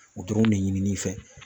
U dɔrɔn ne ɲini n'i fɛ.